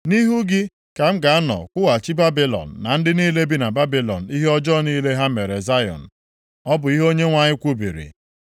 “Nʼihu gị ka m ga-anọ kwụghachi Babilọn na ndị niile bi na Babilọn ihe ọjọọ niile ha mere na Zayọn,” ọ bụ ihe Onyenwe anyị kwubiri.